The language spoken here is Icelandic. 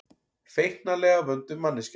Feiknalega vönduð manneskja.